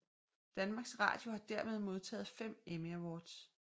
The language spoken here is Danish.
Danmarks Radio har dermed modtaget fem Emmy Awards